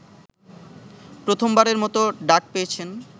প্রথমবারের মতো ডাক পেয়েছেন